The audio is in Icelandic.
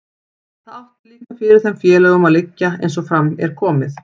Það átti líka fyrir þeim félögunum að liggja, eins og fram er komið.